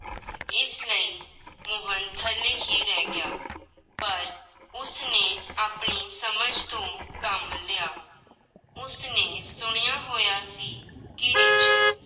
ਇਸ ਲਈ ਮੋਹਨ ਥੱਲੇ ਹੀ ਰਹਿ ਗਿਆ, ਪਰ ਉਸਨੇ ਆਪਣੀ ਸਮਝ ਤੋਂ ਕੰਮ ਲਿਆ, ਉਸਨੇ ਸੁਣਿਆ ਹੋਇਆ ਸੀ ਕਿ ਰਿੱਛ